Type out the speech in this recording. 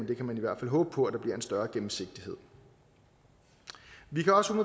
i hvert fald håbe på at der bliver en større gennemsigtighed vi kan også